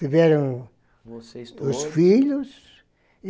Tiveram. Vocês todos. Os filhos.